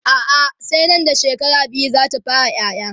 a'a sai Nan da shekara biyu zata fara ƴaƴa